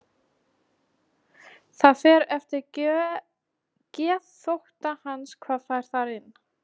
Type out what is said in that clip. Það fer eftir geðþótta hans hvað fær þar inni.